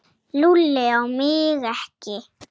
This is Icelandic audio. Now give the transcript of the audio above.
Lúlli á mig ekki.